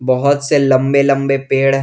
बहुत से लंबे लंबे पेड़ हैं।